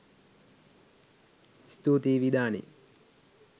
ස්තුතියි විදානේ!